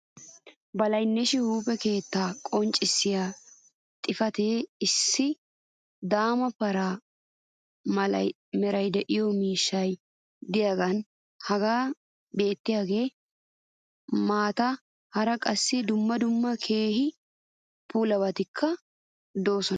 Balaynnashshi huuphphe keettaa qonccissiy xifatee issi daama paraa mala meray de'iyo miishshay diyaagee hagan beetiyaagaa matan hara qassi dumma dumma keehi bullabatikka de'oosona.